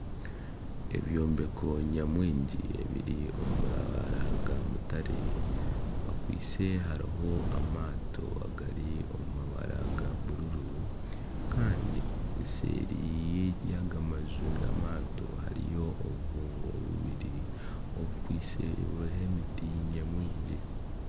Ebyombeko nyamwingi ebiri omu mabara ga mutare, bikwaitse hariho amaato agari omu mabara ga bururu. Kandi eseeri y'aga maju n'amaato hariyo obubungo bubiri obukwaitse buriho emiti nyamwingi